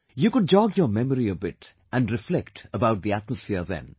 You could jog your memory a bit and reflect about the atmosphere then